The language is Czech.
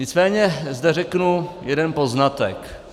Nicméně zde řeknu jeden poznatek.